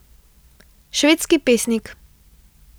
Švedski pesnik.